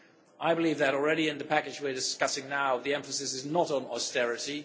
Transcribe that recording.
I believe that, already in the package we are discussing now, the emphasis is not on austerity